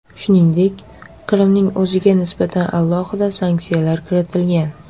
Shuningdek, Qrimning o‘ziga nisbatan alohida sanksiyalar kiritilgan .